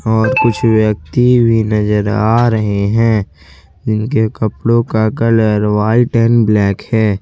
और कुछ व्यक्ति भी नजर आ रहे हैं जिनके कपड़ों का कलर व्हाइट एंड ब्लैक है।